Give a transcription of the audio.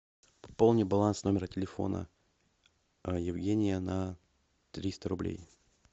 пополни баланс номера телефона евгения на триста рублей